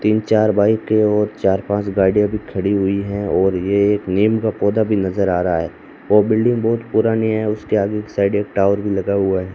तीन चार बाइक हैं और चार पांच गाड़ियां भी खड़ी हुई हैं और ये एक नीम का पौधा भी नजर आ रहा है वो बिल्डिंग बहुत पुरानी है उसके आगे की साइड एक टावर भी लगा हुआ है।